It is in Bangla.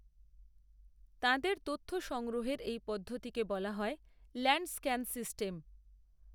তাঁদের তথ্য সংগ্রহের, এই পদ্ধতিকে বলা হয়, ল্যাণ্ড, স্ক্যান সিস্টেম